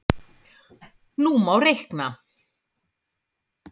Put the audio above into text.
Nú má reikna: